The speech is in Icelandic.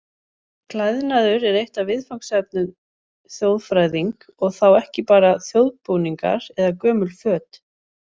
Klæðnaður er eitt af viðfangsefnum þjóðfræðing og þá ekki bara þjóðbúningar eða gömul föt.